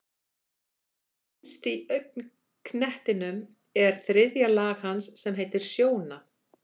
Innst í augnknettinum er þriðja lag hans sem heitir sjóna.